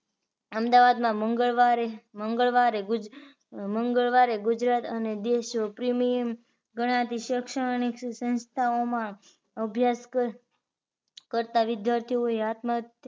અમદાવાદમાં મંગળવારે મંગળવારે મંગળવારે ગુજરાત દેશપ્રેમી ગણાતી શેક્ષણીક સંસ્થાઓ માં અભ્યાસ કરતા વિદ્યાર્થીએ આત્મ